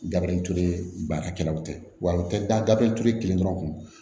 Gabiriture baarakɛlaw tɛ wa u tɛ dabeli ture kelen dɔrɔn